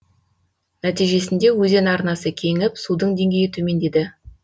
нәтижесінде өзен арнасы кеңіп судың деңгейі төмендеді